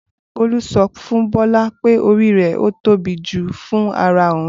Bolu so fun Bola pe ori re o tobi ju fun ara oun.